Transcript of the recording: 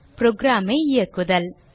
program ஐ இயக்குதல்